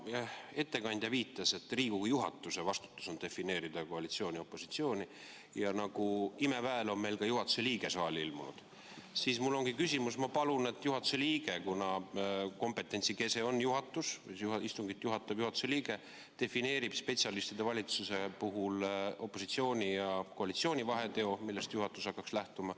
Kuna ettekandja viitas, et Riigikogu juhatuse vastutus on defineerida koalitsiooni ja opositsiooni, ja nagu imeväel on meil ka juhatuse liige saali ilmunud, siis ma palun – kuna kompetentsi kese on juhatus ja istungit juhatab juhatuse liige –, et juhatuse liige defineeriks spetsialistide valitsuse puhul opositsiooni ja koalitsiooni vaheteo, millest juhatus hakkaks lähtuma.